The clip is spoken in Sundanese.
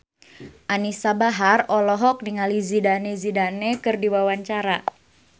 Anisa Bahar olohok ningali Zidane Zidane keur diwawancara